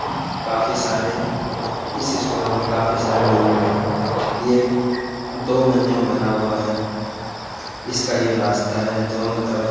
काफी सारे इस स्कूल में काफी सारे रूम हैं। ये दो मंजी में बना हुआ है। इसका जो रास्ता है दोनों तरफ --